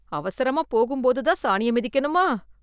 அவசரமா போகும் போதுதான் சாணிய மிதிக்கணுமா?